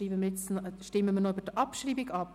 Damit stimmen wir noch über die Abschreibung ab.